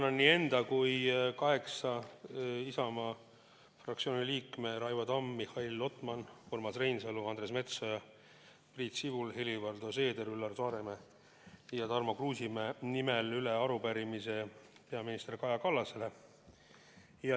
Annan enda ja veel kaheksa Isamaa fraktsiooni liikme, Raivo Tamme, Mihhail Lotmani, Urmas Reinsalu, Andres Metsoja, Priit Sibula, Helir-Valdor Seederi, Üllar Saaremäe ja Tarmo Kruusimäe nimel üle arupärimise peaminister Kaja Kallasele.